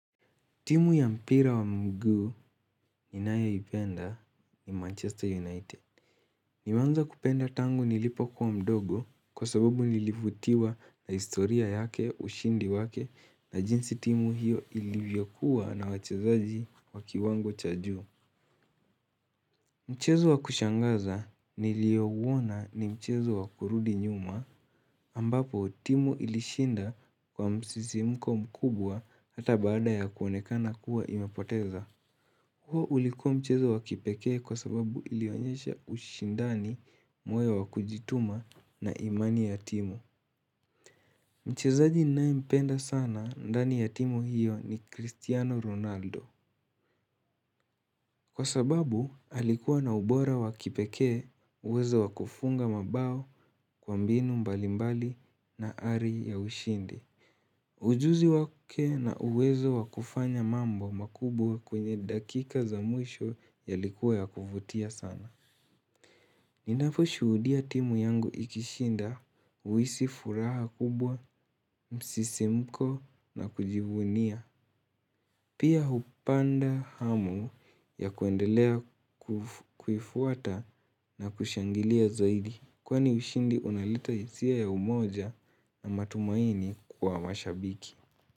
Timu ya mpira wa mguu ninayoipenda ni Manchester United. Nimeanza kupenda tangu nilipokua mdogo kwa sababu nilivutiwa na historia yake ushindi wake na jinsi timu hiyo ilivyokuwa na wachezaji wa kiwango cha juu. Mchezo wa kushangaza niliouona ni mchezo wa kurudi nyuma ambapo timu ilishinda kwa msisimko mkubwa hata baada ya kuonekana kuwa imepoteza. Huo ulikuwa mchezo wa kipekee kwa sababu ilionyesha ushindani, moyo wa kujituma na imani ya timu. Mchezaji ninayempenda sana ndani ya timu hiyo ni Christiano Ronaldo. Kwa sababu alikuwa na ubora wa kipekee uwezo wa kufunga mabao kwa mbinu mbalimbali na ari ya ushindi. Ujuzi wake na uwezo wa kufanya mambo makubwa kwenye dakika za mwisho yalikuwa ya kuvutia sana. Ninaposhuhudia timu yangu ikishinda huhisi furaha kubwa, msisimko na kujivunia. Pia hupanda hamu ya kuendelea kufuata na kushangilia zaidi. Kwani ushindi unaleta hisia ya umoja na matumaini kwa mashabiki.